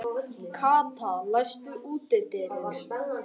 Kata, læstu útidyrunum.